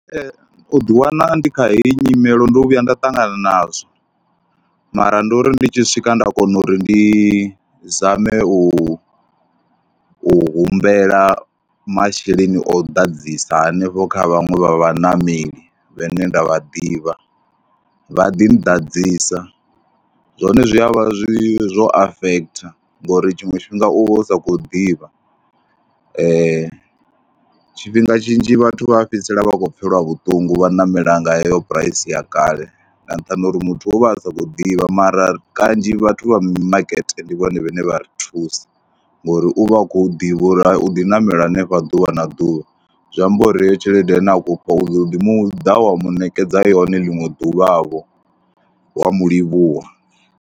U ḓiwana ndi kha heyi nyimele ndo vhuya nda ṱangana nazwo mara ndo ri ndi tshi swika nda kona uri ndi zame u u humbela masheleni o ḓadzisa hanefho kha vhaṅwe vha vhaṋameli, vhane nda vha ḓivha vha ḓi nḓadzisa. Zwone zwi a vha zwi zwo afekhitha ngori tshiṅwe tshifhinga u vha u sa khou ḓivha. Tshifhinga tshinzhi vhathu vha fhedzisela vha khou pfhela vhuṱungu vha ṋamela nga heyo phuraisi ya kale nga nṱhani ha uri muthu u vha a sa khou ḓivha mara kanzhi vhathu vha mimakete ndi vhone vhane vha ri thusa ngori u vha u khou ḓivha uri u ḓi ṋamela hanefha ḓuvha na ḓuvha, zwi amba uri heyo tshelede ine a khou fha, u ḓo ḓi mu ḓa wa mu ṋekedza yone ḽiṅwe ḓuvhavho wa mu livhuwa.